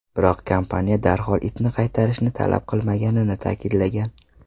Biroq kompaniya darhol itni qaytarishni talab qilmaganini ta’kidlagan.